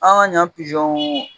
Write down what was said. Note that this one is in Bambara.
An ka ɲan pizɔnw.